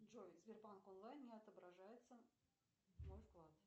джой сбербанк онлайн не отображается мой вклад